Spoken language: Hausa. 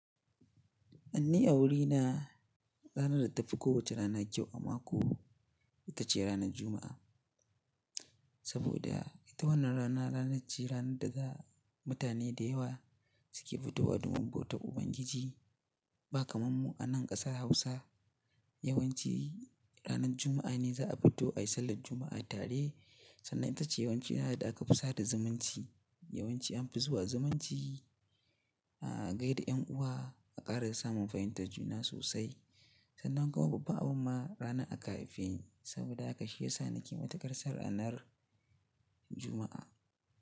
Ni a wuri na ranar da tafi kowace rana ƙyau a mako, itace ranar Juma'a. Saboda ita wannan rana, ranar ce ranar da mutane da yawa suke fitowa domin bautar Ubangiji. Ba kamar mu anan ƙasar Hausa, yawanci ranar Juma'a ne za'a fito ayi sallar Juma'a tare sannan itace yawanci rana da aka fi sada zumunci. Yawanci an fi zuwa zumunci a gaida ƴan uwa, a ƙara samun fahimtar juna sosai. Sannan kuma babban abin ma rana aka haife ni saboda haka shiyasa nake matukar son ranar Juma'a.